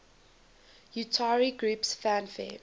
utari groups fanfare